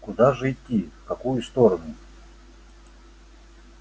куда же идти в какую сторону